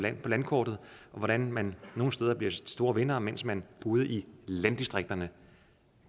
landkortet og hvordan man nogle steder bliver de store vindere mens man ude i landdistrikterne